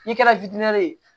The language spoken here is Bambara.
N'i kɛra ye